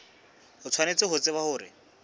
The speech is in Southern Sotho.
o tshwanetse ho tseba hore